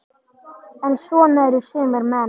En svona eru sumir menn.